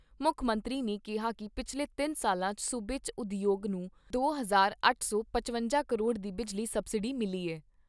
ਮੁੱਖ ਮੰਤਰੀ ਨੇ ਕਿਹਾ ਕਿ ਪਿਛਲੇ ਤਿੰਨ ਸਾਲਾਂ 'ਚ ਸੂਬੇ 'ਚ ਉਦਯੋਗ ਨੂੰ ਦੋ ਹਜ਼ਾਰ ਅੱਠ ਸੌ ਪਚਵੰਜਾ ਕਰੋੜ ਦੀ ਬਿਜਲੀ ਸਬਸਿਡੀ ਮਿਲੀ ਐ।